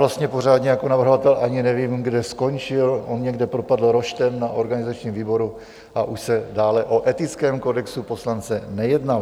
Vlastně pořádně jako navrhovatel ani nevím, kde skončil, on někde propadl roštem na organizačním výboru a už se dále o etickém kodexu poslance nejednalo.